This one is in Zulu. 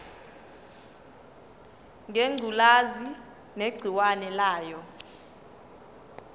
ngengculazi negciwane layo